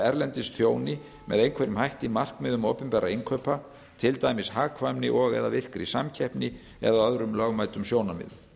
erlendis þjóni með einhverjum hætti markmiðum opinberra innkaupa til dæmis hagkvæmni og eða virkri samkeppni eða öðrum lögmætum sjónarmiðum